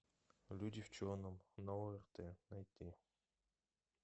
люди в черном на орт найти